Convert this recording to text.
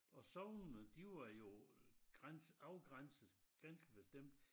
Og sognene de var jo øh grænse afgrænset ganske bestemt